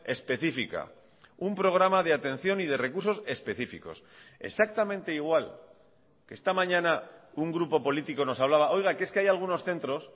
específica un programa de atención y de recursos específicos exactamente igual que esta mañana un grupo político nos hablaba oiga que es que hay algunos centros